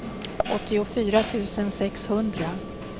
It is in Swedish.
åttiofyra tusen sexhundra